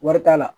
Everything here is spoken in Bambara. Wari t'a la